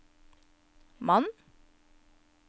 mannen